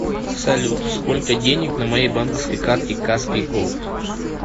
салют сколько денег на моей банковской карте каспий голд